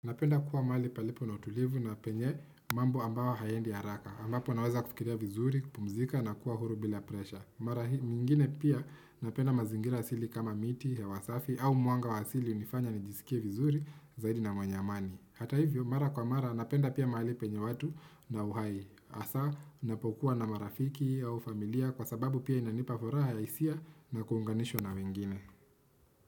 Napenda kuwa maali palipo na utulivu na penye mambo ambayo hayaendi haraka. Ambapo naweza kufikiria vizuri, kupumzika na kuwa huru bila presha. Mara mingine pia napenda mazingira asili kama miti hewa safi au mwanga wa asili unifanya nijisikie vizuri zaidi na mwanyamani. Hata hivyo, mara kwa mara napenda pia maali penye watu na uhai. Asa, napokuwa na marafiki au familia kwa sababu pia inanipa furaha ya isia na kuhunganisho na wengine.